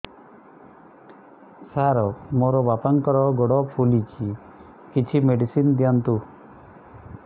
ସାର ମୋର ବାପାଙ୍କର ଗୋଡ ଫୁଲୁଛି କିଛି ମେଡିସିନ ଦିଅନ୍ତୁ